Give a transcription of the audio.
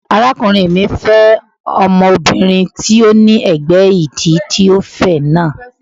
Arákùnrin mi fẹ́ ọmọbìnrin tí ó ní ẹ̀gbẹ́ ìdí tí ó fẹ̀ náà.